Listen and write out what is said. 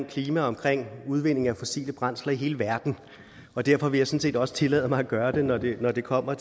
klima og udvindingen af fossile brændsler i hele verden og derfor vil jeg sådan set også tillade mig at gøre det når det når det kommer